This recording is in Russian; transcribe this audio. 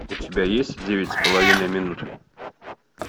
у тебя есть девять с половиной минут